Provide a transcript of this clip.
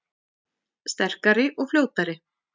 Sterkari og fljótari